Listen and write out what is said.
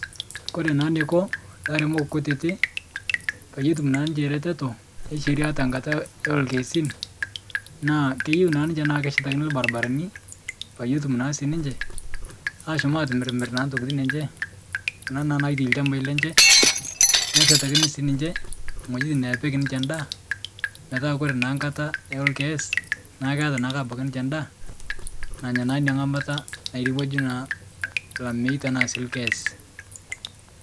Kore naa neiko laremok kutiti peiye etum naa ninche reteto esheria tenkata eolkeesin, naa keyeu naa ninche naa keshatakini lbarbarani peiye etum naa sii ninche ashom atimirmir naa ntokitin enche kuna naa naitai lchambai lenche neshetakini sii ninche ng'ojitin nepik ninche ndaa petaa kore naa nkata eolkees, naa keata naa abaki ninche ndaa nanya naa inia ng'amata nairewaju naa lamei tanaa sii lkees.